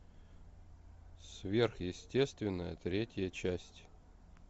сверхъестественное третья часть